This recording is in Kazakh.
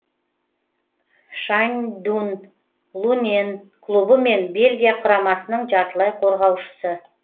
шаньдун лунэн клубы мен бельгия құрамасының жартылай қорғаушысы